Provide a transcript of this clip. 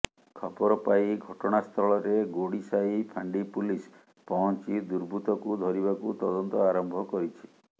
ଖବରପାଇ ଘଟଣାସ୍ଥଳରେ ଗୋଡିସାହି ଫାଣ୍ଡି ପୁଲିସ ପହଞ୍ଚି ଦୁର୍ବୃତ୍ତଙ୍କୁ ଧରିବାକୁ ତଦନ୍ତ ଆରମ୍ଭ କରିଛି